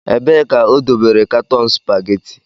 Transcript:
Ebee ka o dobere katọn supageti?